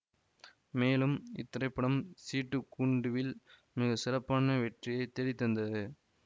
மேலும் இத்திரைப்படம் சீட்டுக் கூண்டுவில் மிக சிறப்பான வெற்றியை தேடித்தந்தது